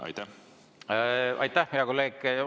Aitäh, hea kolleeg!